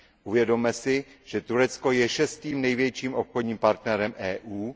Uvědomme si, že Turecko je šestým největším obchodním partnerem EU.